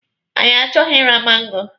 Anyị achọghị ịra mango.